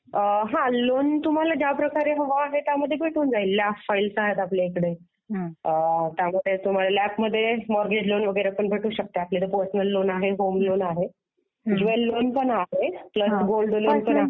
हां लोन तुम्हाला ज्या प्रकारे हवं आहे त्यामध्ये भेटून जाईल ना. अनेक आहेत आपल्याकडे. त्यामध्ये तुम्हाला लॅप मध्ये मॉर्गेज लोन वगैरे भेटू शकते. मग पर्सनल लोन आहे, होम लोन आहे, प्लस गोल्ड लोन पण आहे